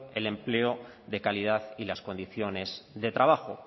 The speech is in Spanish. el empleo de calidad y las condiciones de trabajo